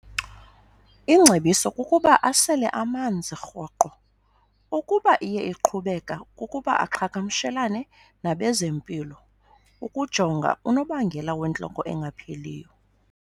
Ingcebiso kukuba asele amanzi rhoqo. Ukuba iye iqhubekeka, kukuba aqhagamshelane nabezempilo ukujonga unobangela wentloko engapheliyo.